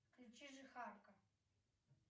включи жихарка